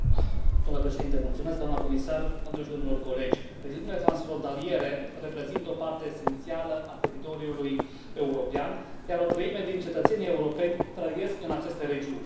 Domnule președinte, doamnă comisar, doamnelor și domnilor colegi, regiunile transfrontaliere reprezintă o parte esențială a teritoriului european, iar o treime din cetățenii europeni trăiesc în aceste regiuni.